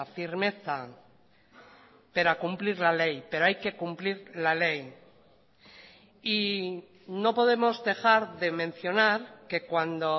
firmeza pero a cumplir la ley pero hay que cumplir la ley y no podemos dejar de mencionar que cuando